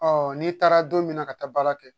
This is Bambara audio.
n'i taara don min na ka taa baara kɛ